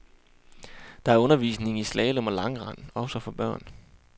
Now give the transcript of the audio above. Der er undervisning i slalom og langrend, også for børn.